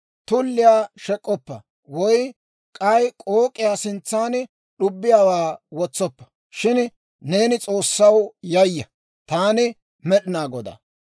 « ‹Tulliyaa shek'k'oppa; woy k'ay k'ook'iyaa sintsan d'ubbiyaawaa wotsoppa; shin neeni S'oossaw yayya. Taani Med'inaa Godaa.